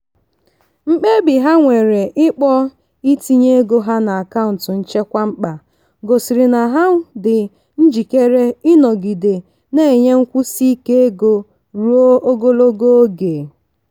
mkpebi ha nwere ikpọ itinye ego ha n'akaụntụ nchekwa mkpa gosiri na ha dị njikere ịnọgide na-enwe nkwụsi ike ego ruo ogologo oge.